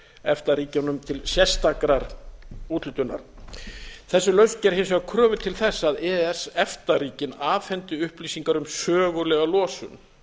efta ríkjunum til sérstakrar úthlutunar þessi lausn gerir hins vegar kröfu til þess að e e s efta ríkin afhendi upplýsingar um sögulega losun